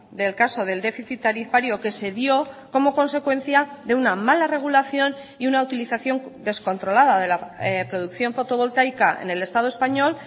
del caso del déficit tarifario que se dio como consecuencia de una mala regulación y una utilización descontrolada de la producción fotovoltaica en el estado español